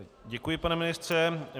Děkuji, pane ministře.